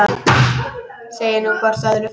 Segið nú hvort öðru frá.